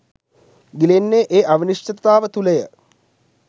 ගිලෙන්නේ ඒ අවිනිශ්චිතතාව තුළය